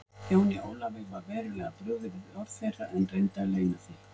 Jóni Ólafi var verulega brugðið við orð þeirra en reyndi að leyna því.